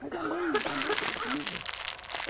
Mas a mãe a mãe precisa.